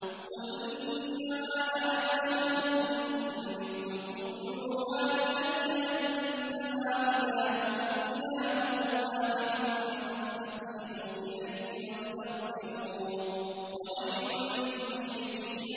قُلْ إِنَّمَا أَنَا بَشَرٌ مِّثْلُكُمْ يُوحَىٰ إِلَيَّ أَنَّمَا إِلَٰهُكُمْ إِلَٰهٌ وَاحِدٌ فَاسْتَقِيمُوا إِلَيْهِ وَاسْتَغْفِرُوهُ ۗ وَوَيْلٌ لِّلْمُشْرِكِينَ